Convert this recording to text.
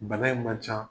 Bana in ma ca